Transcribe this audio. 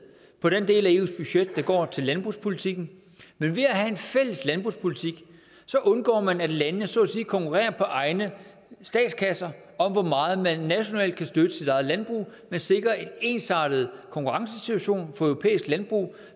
på den del af eus budget der går til landbrugspolitikken men ved at have en fælles landbrugspolitik undgår man at landene så at sige konkurrerer på egne statskasser om hvor meget man nationalt kan støtte sit eget landbrug man sikrer en ensartet konkurrencesituation for europæisk landbrug